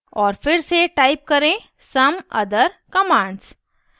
और फिर से type करें some other commands